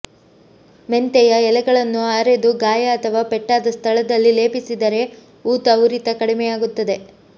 ಮೆಂತೆಯ ಎಲೆಗಳನ್ನು ಅರೆದು ಗಾಯ ಅಥವಾ ಪೆಟ್ಟಾದ ಸ್ಥಳದಲ್ಲಿ ಲೇಪಿಸಿದರೆ ಊತ ಉರಿತ ಕಡಿಮೆಯಾಗುತ್ತದೆ